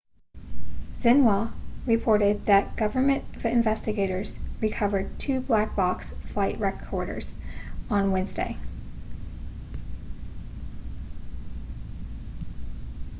xinhua reported that government investigators recovered two black box' flight recorders on wednesday